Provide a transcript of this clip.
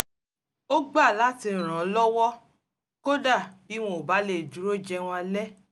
ó gbà láti ràn án lọ́wọ́ kódà bí wọn ò bá lè dúró jẹun alẹ́